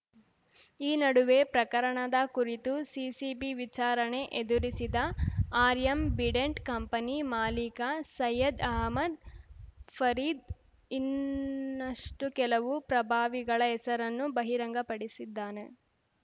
ಈ ನಡುವೆ ಪ್ರಕರಣದ ಕುರಿತು ಸಿಸಿಬಿ ವಿಚಾರಣೆ ಎದುರಿಸಿದ ಆರ್ಯಮ್ ಬಿಡೆಂಟ್‌ ಕಂಪನಿ ಮಾಲೀಕ ಸೈಯದ್‌ ಅಹಮದ್‌ ಫರೀದ್‌ ಇನ್ನಷ್ಟುಕೆಲವು ಪ್ರಭಾವಿಗಳ ಹೆಸರನ್ನು ಬಹಿರಂಗಪಡಿಸಿದ್ದಾನೆ